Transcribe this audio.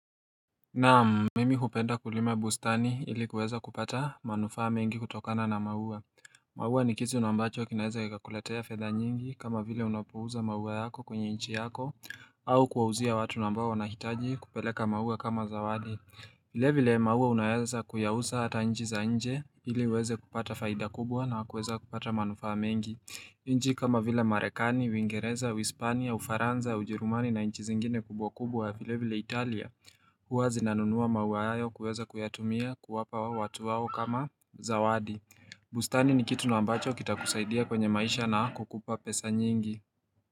Na mimi hupenda kulima bustani ili kuweza kupata manufaa mengi kutokana na maua. Maua ni kitu na ambacho kinaweza kikakuletea fedha nyingi kama vile unapouza maua yako kwenye inchi yako au kuwauzia watu na ambao wanahitaji kupeleka maua kama zawadi. Vile vile maua unaweza kuyauza hata inchi za nje ili uweze kupata faida kubwa na kuweza kupata manufaa mengi. Inji kama vile Marekani, Uingereza, Uispania, Ufaranza, Ujerumani na inchi zingine kubwa kubwa vile vile Italia. Huwa zinanunua maua hayo kuweza kuyatumia kuwapa watu wao kama zawadi. Bustani ni kitu na ambacho kitakusaidia kwenye maisha na kukupa pesa nyingi.